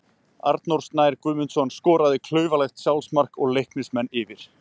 Arnór Snær Guðmundsson skoraði klaufalegt sjálfsmark og Leiknismenn yfir.